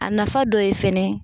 A nafa dɔ ye fɛnɛ